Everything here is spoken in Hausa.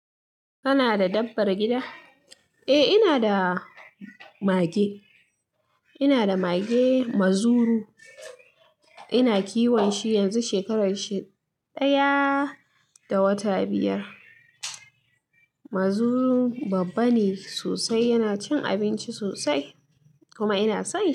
Kana da dabbar gida? Eh eh inada mage ina da mage Mazuru. Ina kiwon shi yanzu shekaru ɗaya da wata biyar. Mazuru babba ne sosai. Yana cin abinci sosai, kuma ina son.